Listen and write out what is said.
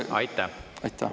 Aitäh!